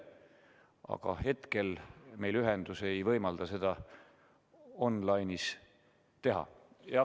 Aga hetkel meil ühendus ei võimalda seda online'is teha.